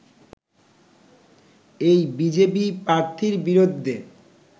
এই বিজেপি প্রার্থীর বিরুদ্ধে